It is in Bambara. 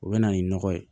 O bɛ na ni nɔgɔ ye